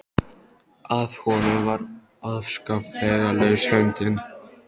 Að honum var afskaplega laus höndin.